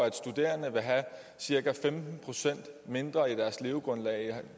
at studerende vil have cirka femten procent mindre i deres levegrundlag end